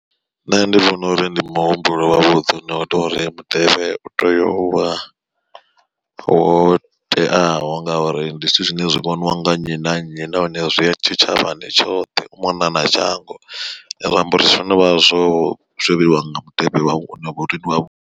Nṋe ndi vhona uri ndi muhumbulo wavhuḓi une wa tea uri mutevhe utea uvha wo teaho ngauri, ndi zwithu zwine zwi vhoniwa nga nnyi na nnyi nahone zwi ya tshitshavhani tshoṱhe u mona na shango ra amba uri zwo novha zwo zwo vheiwa nga mutevhe wa wavhuḓi.